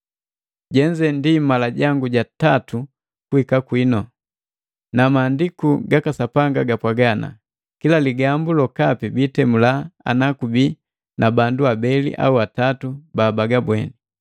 Jenze ndi mala jangu ja tatu kuhika kwinu. Na Mahandiku gaka Sapanga gapwaaga, “Kila ligambu lokapi biitemula ana kubii na bandu abeli au atatu babagabweni.”